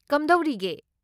ꯀꯝꯗꯧꯔꯤꯒꯦ?